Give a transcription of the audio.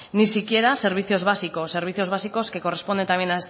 ni siquiera servicios básicos servicios básicos que corresponden también